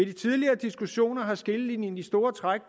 de tidligere diskussioner er skillelinjen i store træk